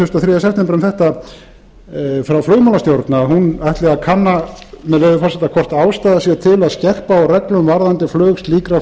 og þriðja september um þetta frá flugmálastjórn að hún ætli að kanna með leyfi forseta hvort ástæða sé til að skerpa á reglum varðandi flug slíkra